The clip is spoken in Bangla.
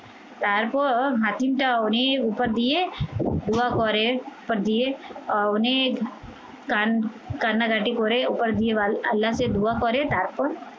তারপর হাকিমটা অনেক উপর দিয়ে, উয়া করে অনেক প্রান কান্নাকাটি করে ওপর আল্লাহকে দোয়া করে তারপর